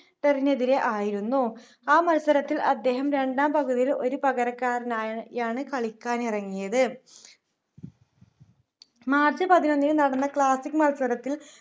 ഡറിനെതിരെ ആയിരുന്നു ആ മത്സരത്തിൽ അദ്ദേഹം രണ്ടാം പകുതിയിൽ ഒരു പകരക്കാരനായാണ് കളിക്കാനിറങ്ങിയത് march പതിനൊന്നിന് നടന്ന ക്ലാസിക്ക് മത്സരത്തിൽ